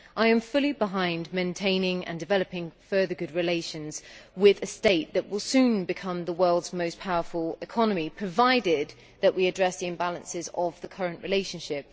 I am fully behind maintaining and developing further good relations with a state that will soon become the world's most powerful economy, provided that we address the imbalances of the current relationship.